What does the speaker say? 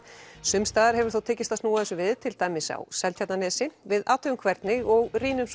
sums staðar hefur þó tekist að snúa þessu við til dæmis á Seltjarnarnesi við athugum hvernig og rýnum